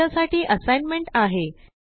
तुमच्यासाठी असाइनमेंट आहे